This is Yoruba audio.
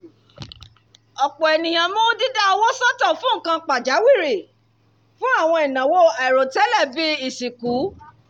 ọ̀pọ̀ ènìyàn mú dídá owó sọ́tọ̀ fún nǹkan pàjáwìrì fún àwọn ìnáwó àìròtẹ́lẹ̀ bíi ìsìnkú